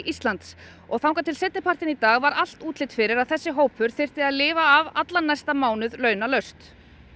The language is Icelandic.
Íslands og þar til seinnipartinn í dag var allt útlit fyrir að þessi hópur þyrfti að lifa af allan næsta mánuð launalaust